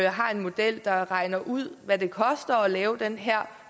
har en model der regner ud hvad det koster at lave den her